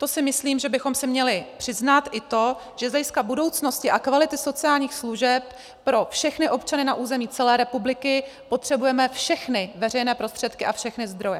To si myslím, že bychom si měli přiznat i to, že z hlediska budoucnosti a kvality sociálních služeb pro všechny občany na území celé republiky potřebujeme všechny veřejné prostředky a všechny zdroje.